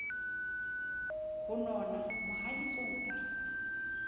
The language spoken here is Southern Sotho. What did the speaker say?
ho nona mohaditsong a re